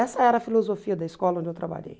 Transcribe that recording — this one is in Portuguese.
Essa era a filosofia da escola onde eu trabalhei.